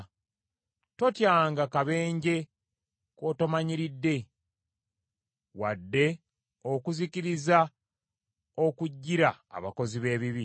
Totyanga kabenje kootomanyiridde, wadde okuzikirira okujjira abakozi b’ebibi,